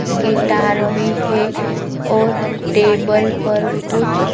guitar भी है और टेबल पर कुछ--